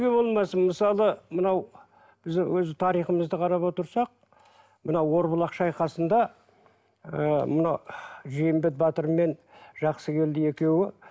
болмасын мысалы мынау біз өзі тарихымызды қарап отырсақ мына орбұлақ шайқасында ы мынау жиенбек батыр мен жақсыгелді екеуі